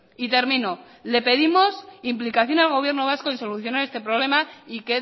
y termino le pedimos implicación al gobierno vasco y solucionar este problema y